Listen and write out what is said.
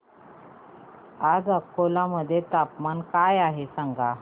आज अकोला मध्ये तापमान काय आहे सांगा